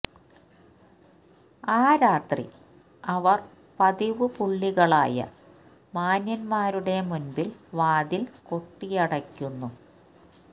ആ രാത്രി അവർ പതിവ് പുള്ളികളായ മാന്യന്മാരുടെ മുൻപിൽ വാതിൽ കൊട്ടിയടയ്ക്കുന്നു